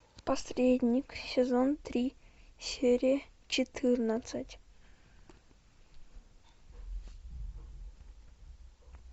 посредник сезон три серия четырнадцать